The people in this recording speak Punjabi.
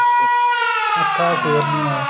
ਅੱਖਾਂ ਫੇਰਨੀਆ